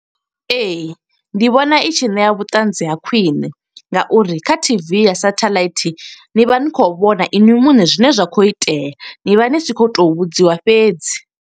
e\Ee, ndi vhona i tshi ṋea vhuṱanzi ha khwiṋe nga uri kha T_V ya sathaḽaithi ni vha ni khou vhona inwi muṋe zwine zwa khou itea. Ni vha ni si khou to vhudziwa fhedzi.